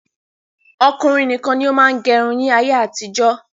Ọkùnrin nìkan ni ó máa ń gẹrun ni ayé àtijọ́.